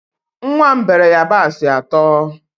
Nwa m beere yabasị atọ